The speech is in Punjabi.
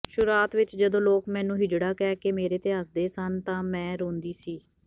ਸ਼ੁਰੂਆਤ ਵਿੱਚ ਜਦੋਂ ਲੋਕ ਮੈਨੂੰ ਹਿਜੜਾ ਕਹਿਕੇ ਮੇਰੇ ਤੇ ਹੱਸਦੇ ਸਨ ਤਾਂ ਮੈਂ ਰੋਦੀ ਸੀ